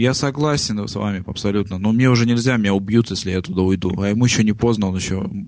я согласен с вами абсолютно но мне уже нельзя меня убьют если я туда уйду а ему ещё не поздно он ещё